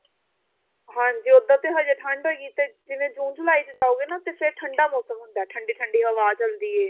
ਹਾਂਜੀ ਉੱਦਾਂ ਤਾਂ ਹਜੇ ਠੰਡ ਹੈਗੀ ਤੇ ਜਿਵੇਂ ਜੁੰ ਜੁਲਾਈ ਚ ਜਾਓਗੇ ਨਾ ਫੇਰ ਠੰਡਾ ਮੋਸਮ ਹੁੰਦਾ ਠੰਡੀ ਠੰਡੀ ਹਵਾ ਚੱਲਦੀ ਏ